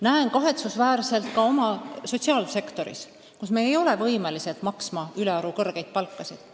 Näen kahetsusväärset seisu ka oma sotsiaalsektoris, kus me ei ole võimelised maksma ülearu kõrgeid palkasid.